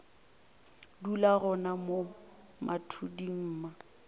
dula gona mo mathuding mma